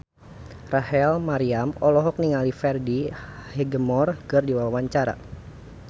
Rachel Maryam olohok ningali Freddie Highmore keur diwawancara